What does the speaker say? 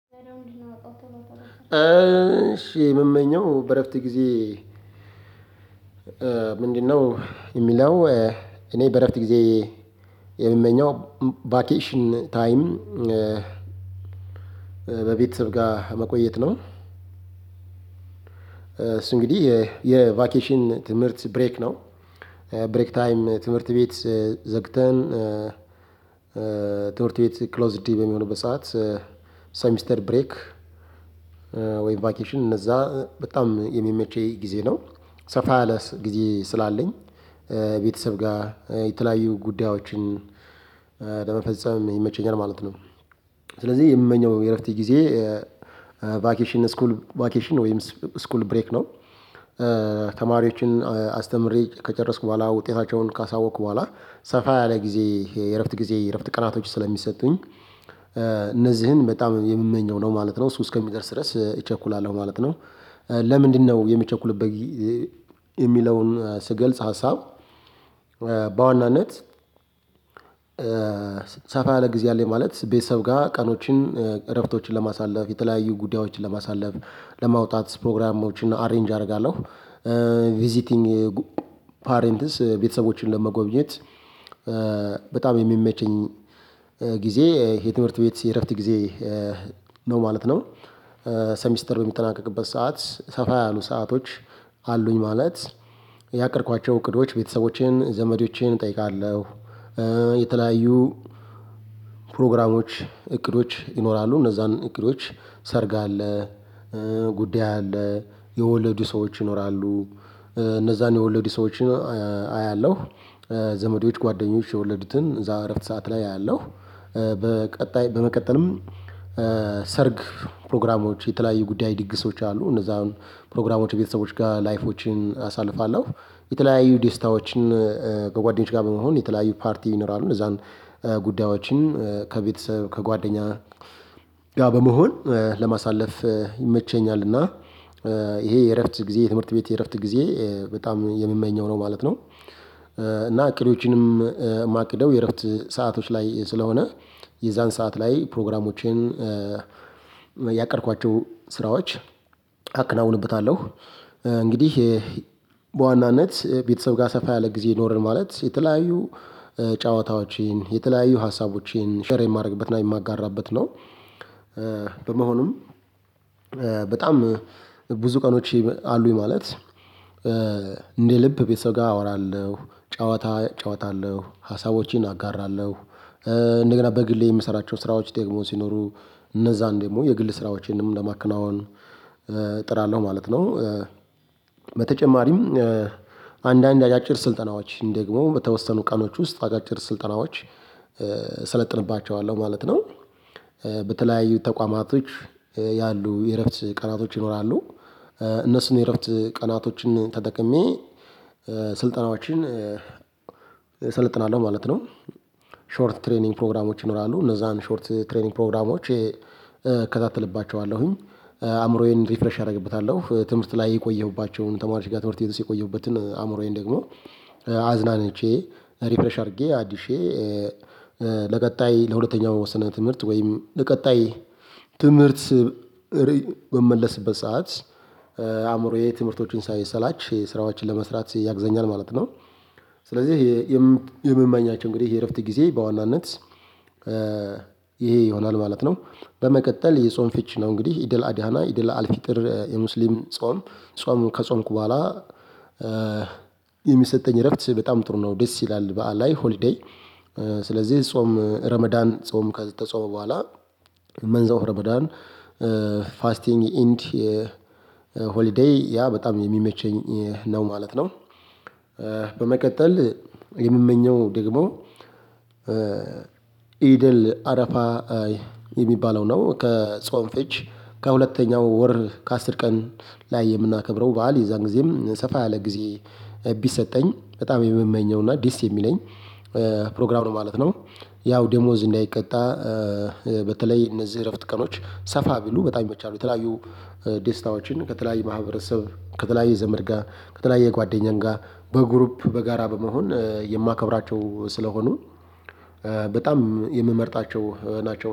እሺ ምመኘው በእረፍት ግዜ ምንድነው የሚለው እኔ በእረፍት ጊዜ የምመኘው ቫኬሽን ታይም በቤተሰብ ጋር መቆየት ነው። እሱ እንግዲህ የቫኬሽን ትምህርት ብሬክ ነው ብሬክ ታይም ትምህርት ቤት ዘግተን ትምህርት ቤት ክሎዝድ በሚሆንበት ሰዓት ሰሚስተር ብሬክ ወይም ቫኬሽን እነዛ በጣም የሚመቸይ ግዜ ነው። ሰፋ ያለ ግዜ ስላለኝ ቤተሰብ ጋር የተለያዩ ጉዳዮችን ለመፈጸም ይመቸኛል ማለት ነው ስለዚህ የምመኘው የእረፍት ግዜ ቫኬሽን ስኩል ቫኬሽን ወይም ስ ስኩል ብሬክ ነው ተማሪዎችን አስተምሬ ከጨረስኩ በኋላ ውጤታቸውን ካሳወቅኩ በኋላ ሰፋ ያለ ግዜ የእረፍት ግዜ የእረፍት ቀናቶች ስለሚሰጡኝ እነዚህን በጣም የምመኘው ነው ማለት ነው። እሱ እስከሚደርስ ድረስ እቸኩላለሁ ነው ማለት ነው ለምንድነው የሚቸኩልበት የሚለውን ስገልጽ ሀሳብ በዋናነት ሰፋ ያለ ግዜ አለኝ ማለት ቤተሰብ ጋር ቀኖችን እረፍቶችን ለማሳለፍ የተለያዩ ጉዳዮችን ለማሳለፍ ለማውጣት ፕሮግራሞችን አሬንጅ አረጋለሁ። ቪዚቲንግ ፓሬንትስ ቤተሰቦችን ለመጎብኘት በጣም የሚመቸኝ ጊዜ የትምህርት ቤት የእረፍት ጊዜ ነው ማለት ነው ሰሚስተር በሚጠናቀቅበት ሰዓት ሰፋ ያሉ ሰአቶች አሉኝ ማለት ያቀድኳቸው እቅዶች ቤተሰቦቼን ዘመዶቼን እጠይቃለሁ የተለያዩ ፕሮግራሞች እቅዶች ይኖራሉ። እነዛን እቅዶች ሰርግ አለ ጉዳይ አለ የወለዱ ሰዎች ይኖራሉ እነዛን የወለዱ ሰዎች አያለሁ ዘመዴዎች ጓደኞች የወለዱትን እዛው እረፍት ሰዓት ላይ አያለሁ። በቀጣይ በመቀጠልም ሰርግ ፕሮግራሞች የተለያዩ ጉዳይ ድግሶች አሉ። እነዛ አሁን ፕሮግራሞች ቤተሰቦች ጋር ላይፎችን አሳልፋለሁ። የተለያዩ ዴስታዎችን ከጓደኞች ጋር በመሆን የተለያዩ ፓርቲ ቪነራል እነዛን ጉዳዮችን ከቤተሰብ ከጓደኛ ጋር በመሆን ለማሳለፍ ይመቸኛል እና ይሄ የእረፍት ግዜ የትምህርት ቤት የእረፍት ግዜ በጣም የሚመኘው ነው ማለት ነው እና እቅዶቼንም ማቅደው የእረፍት ሰአቶች ላይ ስለሆነ የዛን ሰዓት ላይ ፕሮግራሞቼን ያቀድኳቸው ስራዎች አከናውንበታለሁ። እንግዲህ በዋናነት ቤተሰብ ጋር ሰፋ ያለ ግዜ ኖረን ማለት የተለያዩ ጨዋታዎቼን የተለያዩ ሀሳቦቼን ሼር የማደርግበትና የማጋራበት ነው በመሆኑም በጣም ብዙ ቀኖች አሉኝ ማለት እንደ ልብ ቤተሰብ ጋር አወራለሁ ጨዋታ ጨዋታለሁ። ሀሳቦቼን አጋራለሁ እንደገና በግሌ የምሰራቸው ስራዎች ደግሞ ሲኖሩ እነዛን ደግሞ የግል ስራዎቼንም ለማከናወን እጥራለሁ ማለት ነው በተጨማሪም አንዳንድ አጫጭር ስልጠናዎች ደግሞ በተወሰኑ ቀኖች ውስጥ አጫጭር ስልጠናዎች ሰለጥንባቸዋለሁ ማለት ነው በተለያዩ ተቋማቶች ያሉ የእረፍት ቀናቶች ይኖራሉ እነሱን የእረፍት ቀናቶችን ተጠቅሜ ስልጠናዎችን እሰልጥናለሁ ማለት ነው ሾርት ትሬኒንግ ፕሮግራሞች ይኖራሉ እነዛን ሾርት ትሬኒንግ ፕሮግራሞች ከታተልባቸዋለሁኝ አእምሮዬን ሪፍረሽ አረግበታለሁ። ትምህርት ላይ የቆየሁባቸውን ተማሪዎች ጋር ትምህርት ቤት ውስጥ የቆየሁበትን አእምሮዬን ደግሞ አዝናንቼ ሪፍሬሽ አድርጌ አድሼ ለቀጣይ ለሁለተኛው ስነ ትምህርት ወይም ለቀጣይ ትምህርት በምመለስበት ሰዓት አእምሮዬ ትምህርቶቹን ሳይሰላች ስራዎችን ለመስራት ያግዘኛል ማለት ነው። ስለዚህ የምመኛቸው እንግዲህ የእረፍት ጊዜ በዋናነት ይሆናል ማለት ነው። በመቀጠል የጾም ፍቺ ነው እንግዲህ ኢድ አል አድሃ እና ኢድ አል ፊጥር የሙስሊም ጾም ጾም ከጾምኩ በኋላ የሚሰጠኝ እረፍት በጣም ጥሩ ነው ደስ ይላል በዓል ላይ ሆሊዴይ ስለዚህ ጾም ረመዳን ጾም ከተጾመ በኋላ መንዛው ረመዳን ፋስቲንግ ኢንዲ ኢንቲ ሆሊዴይ ያ በጣም የሚመቸኝ ነው ማለት ነው በመቀጠል የምመኘው ደግሞ ኢድ አል አረፋ የሚባለው ነው። ከጾም ፍች ከሁለተኛው ወር ከአስር ቀን ላይ የምናከብረው በዓል የዛን ግዜም ሰፋ ያለ ጊዜ ቢሰጠኝ በጣም የምመኘውና ደስ የሚለኝ ፕሮግራም ነው ማለት ነው። ያው ደሞዝ እንዳይቀጣ በተለይ እነዚህ እረፍት ቀኖች ሰፋ ቢሉ በጣም ይመቻሉ የተለያዩ ደስታዎችን ከተለያዩ ማህበረሰብ ከተለያዩ ዘመድ ጋር ከተለያየ ጓደኛዬ ጋር በግሩፕ በጋራ በመሆን የማከብራቸው ስለሆኑ በጣም የምመርጣቸው ናቸው።